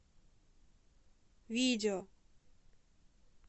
видео